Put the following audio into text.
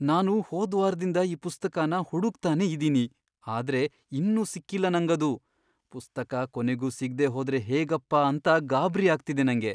ನಾನು ಹೋದ್ವಾರ್ದಿಂದ ಈ ಪುಸ್ತಕನ ಹುಡುಕ್ತಾನೇ ಇದೀನಿ ಆದ್ರೆ ಇನ್ನೂ ಸಿಕ್ಕಿಲ್ಲ ನಂಗದು. ಪುಸ್ತಕ ಕೊನೆಗೂ ಸಿಗ್ದೇ ಹೋದ್ರೆ ಹೇಗಪ್ಪಾ ಅಂತ ಗಾಬ್ರಿ ಆಗ್ತಿದೆ ನಂಗೆ.